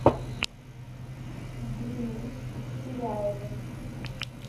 дрюней ширяевым